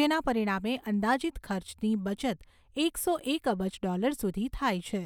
જેના પરિણામે અંદાજિત ખર્ચની બચત એકસો એક અબજ ડૉલર સુધી થાય છે.